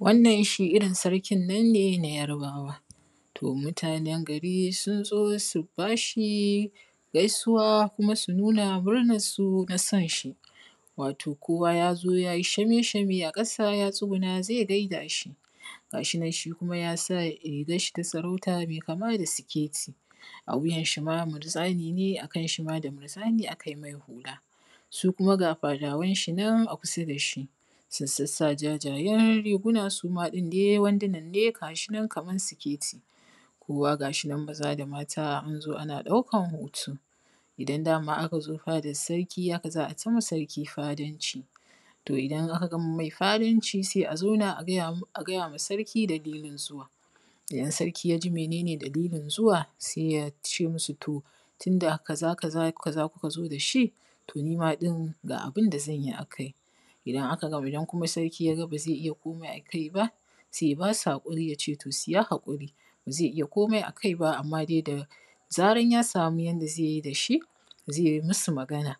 wannan shi irin sarkin nan ne na yarabawa to mutanan gari sun zo su bashi gaisuwa kuma su nuna murnan su na son shi wato kowa ja zo ja ji shamee shame a ƙasa ya tsuguna zai gaida shi ga shi nan shi kuma ya sa rigan shi ta sarauta mai kama da siketi a wuyan shi ma murzani ne a kan shi ma da murzani a kai mai hula su kuma ga fadawan shi nan a kusa da shi sun sassa jajayan riguna suma ɗin dai wanduna ne ga shi nan kaman siketi kowa ga shi nan maza da mata anzo ana ɗaukan hoto idan dama aka zo fadan sarki haka za ai ta ma sarki fadanci to idan aka gama mai fadanci sai a zauna a gajama sarki dalilin zuwa idan sarki yaji mene ne dalilin zuwa sai ya ce masu to tunda kaza kaza kuka zo da shi to ni ma ɗin ga abinda zan yi akai idan kuma sarki ya ga ba zai iya komai akai ba sai ya ba su haƙuri ya ce to su yi haƙuri ba zai iya komai a kai ba amma dai da zaran ya samu yanda zai yi da shi zai yi masu magana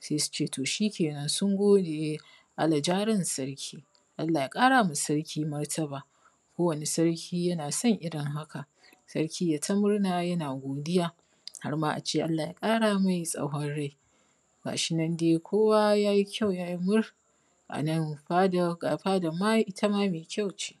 sai su ce to shikenan sun gode allah ja ran sarki allah ya ƙarama sarki martaba kowane sarki yana son irin haka sarki yayi ta murna yana godiya harma a ce allah ya ƙara mai tsawon rai gashi nan dai kowa yayi kyau yayi mur a nan fadan ga fadan ma ita ma mai kyau ce